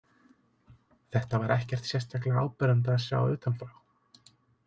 Þetta var ekkert sérstaklega áberandi að sjá utanfrá.